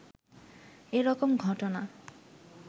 এ রকম ঘটনা